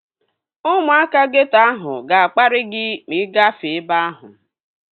Ụmụaka geeto ahụ ga-akparị gị ma ị gafee ebe ahụ